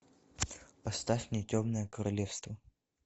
поставь мне темное королевство